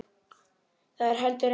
Það er heldur ekki von.